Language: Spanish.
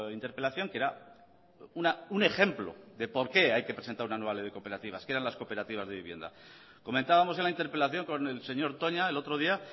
interpelación que era un ejemplo de por qué hay que presentar una nueva ley de cooperativas que eran las cooperativas de vivienda comentábamos en la interpelación con el señor toña el otro día